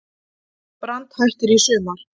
Brand hættir í sumar